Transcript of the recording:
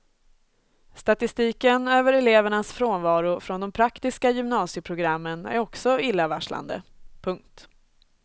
Statistiken över elevernas frånvaro från de praktiska gymnasieprogrammen är också illavarslande. punkt